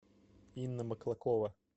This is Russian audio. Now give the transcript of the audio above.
инна маклакова